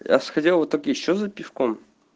я сходил в итоге ещё за пивком